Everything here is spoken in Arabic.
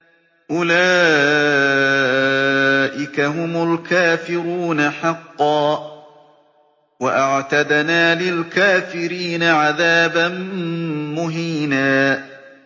أُولَٰئِكَ هُمُ الْكَافِرُونَ حَقًّا ۚ وَأَعْتَدْنَا لِلْكَافِرِينَ عَذَابًا مُّهِينًا